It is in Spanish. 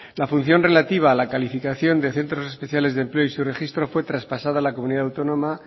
la función relativa a la calificación de centros especiales de empleo y su registro fue traspasada a la comunidad autónoma